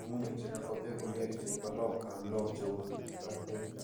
ng'ung'unyek che kakwa peek komnyee che bo loam anan loam che uu ng'asyek.